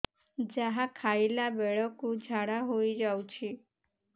ଯାହା ଖାଇଲା ବେଳକୁ ଝାଡ଼ା ହୋଇ ଯାଉଛି